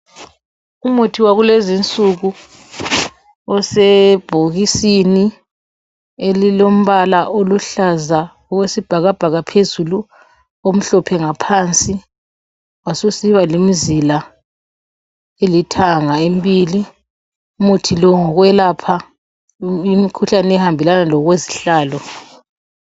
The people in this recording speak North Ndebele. Umuthi wakulezi nsuku osebhokisini elilombala oluhlaza okwesibhakabhaka phezulu omhlophe ngaphansi wasusiba lemzila elithanga embili . Umuthi lo ngowokwelapha imkhuhlane ekuhambelana lokwezihlalo.